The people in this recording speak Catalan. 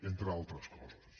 entre altres coses